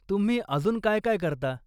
तुम्ही अजून काय काय करता?